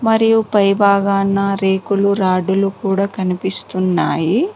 మరియు పై భాగాన రేకులు రాడ్డు లు కూడా కనిపిస్తున్నాయి.